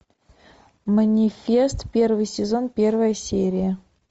манифест первый сезон первая серия